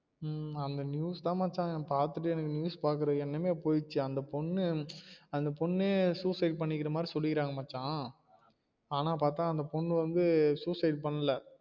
உம் உம் அந்த news தா மச்சா அந்த பாத்துட்டு news பாக்குற எண்ணமே போய்டுச்சு அந்த பொண்ணு அந்த பொண்ணே suicide பண்ணிக்குற மாதிரி சொல்லிக்குறாங்க மச்சா ஆனா பாத்தா அந்த பொண்ணு வந்து suicide பண்ணல